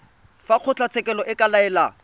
fa kgotlatshekelo e ka laela